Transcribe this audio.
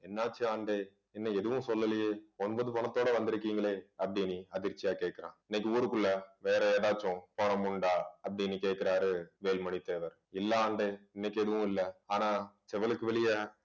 என்னாச்சு ஆண்டே இன்னும் எதுவும் சொல்லலையே. ஒன்பது பொனத்தோட வந்திருக்கீங்களே அப்படின்னு அதிர்ச்சியா கேட்கிறான் இன்னைக்கு ஊருக்குள்ள வேற ஏதாச்சும் பொணம் உண்டா அப்படின்னு கேட்கிறாரு வேலுமணி தேவர் இல்லை ஆண்டே இன்னைக்கு எதுவும் இல்லை ஆனா செவலுக்கு வெளிய